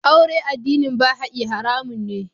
Aure addinin Baha'i haramun ne.